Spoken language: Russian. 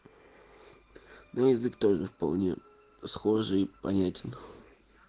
ну язык тоже вполне схожий и понятен